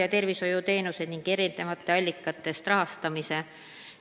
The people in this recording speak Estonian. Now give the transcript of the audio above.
... ja tervishoiuteenused ning eri allikatest rahastamise?